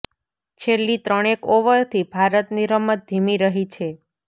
છેલ્લી ત્રણેક ઓવર થી ભારતની રમત ધીમી રહી છે